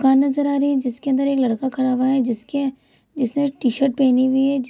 दुकान नजर आ रही है । जिसके अंदर एक लड़का खड़ा हुआ है । जिसके जिसने टी-शर्ट पेहनी हुई है | ज --